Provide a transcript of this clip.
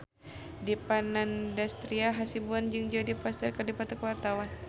Dipa Nandastyra Hasibuan jeung Jodie Foster keur dipoto ku wartawan